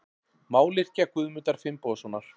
Mályrkja Guðmundar Finnbogasonar.